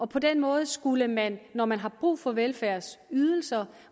på den måde skulle man når man har brug for velfærdsydelser